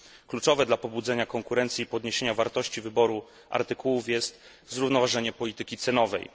Kluczowe dla pobudzenia konkurencji i podniesienia wartości wyboru artykułów jest zrównoważenie polityki cenowej.